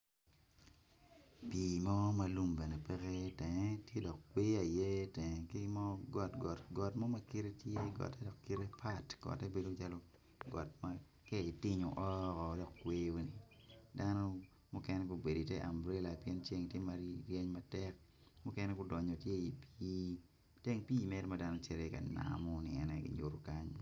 Pii mo ma lum bene pe i tenge kweyo aye tye i teng ki got got ma kite pat got ma ki itinyo oo kweyo dano mukene gubedo i te ambrela pien ceng ryeny matek.